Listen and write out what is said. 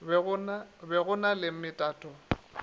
be go na le metato